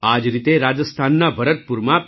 આ જ રીતે રાજસ્થાનના ભરતપુરમાં પી